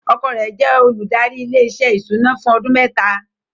Ọkọ rẹ̀ ti jẹ́ olùdarí ilé-iṣẹ́ ìṣúná fún ọdún mẹ́ta.